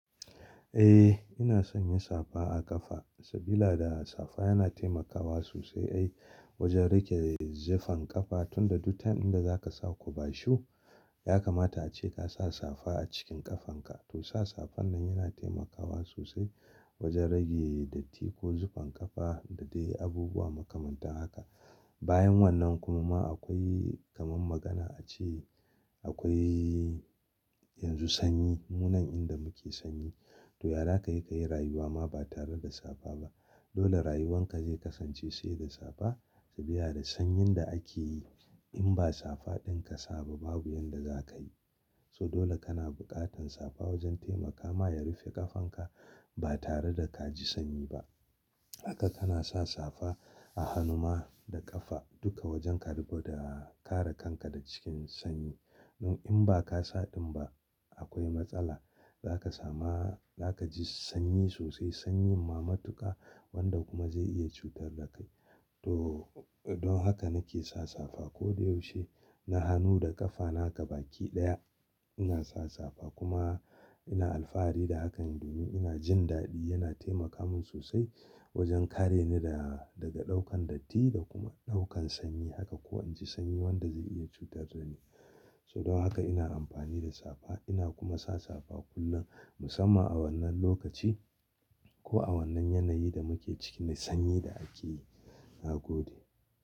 Eh ina san ya safa a ƙafa sabida safa yana taimakawa sosai ai wojen rage zufan ƙafa tunda duk lokacin da zaka sa kubashu yakamata ace kasa safa a cikin ƙafanka. To sa safan nan yana taimakawa sosai wojen rage dotti ko zufan ƙafa da dai abubuwa makamantan haka. Bayan wannan kuma ma akoi kaman magana ace akoi yanzu sanyi munan inda muke sanyi to yazakayi ka yi ka yi rayuwa ma ba tare da safa ba dole rayuwanka zai kasance sai da safa sabida sanyin da akeyi in ba safaɗin ka sa ba babu yanda zakayi. So dole kana buƙatan safa wojen taimakama ya rufe ƙafanka ba tare da kaji sanyi ba. Haka kana sa safa a hanuma da ƙafa duka wojen karɓo da kare kanka da cikin sanyi. Nan in ba ka sa ɗin ba akoi matsala zaka sama zaka ji sanyi sosai sanyin ma matuka wanda kuma zai iya cutar da kai. To don haka nake sa safa koda yaushe na hanu da ƙafa na ga baki ɗaya ina sa safa kuma ina alfahari da hakan domin ina jin daɗi yana taimaka min sosai wojen kare ni da daga ɗaukan dotti da kuma ɗaukan sanyi haka ko inji sanyi wanda zai iya cutar da ni. So don haka ina amfani da safa ina kuma sa safa kullum musamman a wannan lokaci ko a wannan yanayi da muke ciki na sanyi da akeyi na gode.